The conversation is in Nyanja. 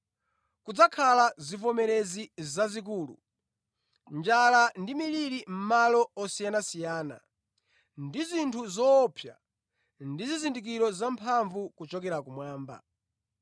Kudzakhala zivomerezi zazikulu, njala ndi miliri mʼmalo osiyanasiyana, ndi zinthu zoopsa ndi zizindikiro zamphamvu kuchokera kumwamba.